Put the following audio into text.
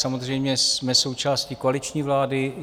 Samozřejmě jsme součástí koaliční vlády.